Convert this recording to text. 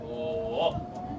Ooo!